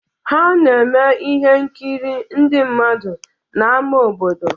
Ha na-eme ihe nkiri ndị mmadụ n'ámá obodo.